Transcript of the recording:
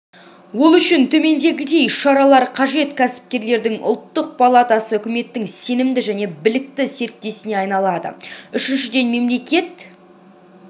ол үшін төмендегідей шаралар қажет кәсіпкерлердің ұлттық палатасы үкіметтің сенімді және білікті серіктесіне айналады үшіншіден мемлекет